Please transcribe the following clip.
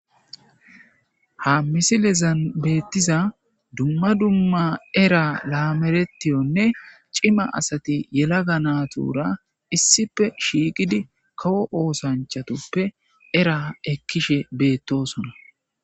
ha misilezan beettiza dumma dumma era laameretiyonne cima asati yela ga natuura issife shiiqidi kawo oosanchatoppe era ekkishe beettosona